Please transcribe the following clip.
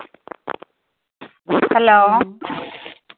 Hello